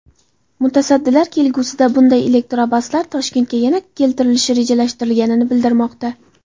Mutasaddilar kelgusida bunday elektrobuslar Toshkentga yana keltirilishi rejalashtirilganini bildirmoqda.